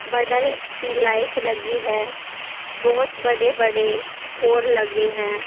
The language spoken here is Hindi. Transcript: बड़ा सी लाइट लगी है बहोत बड़े बड़े पोल लगे हैं।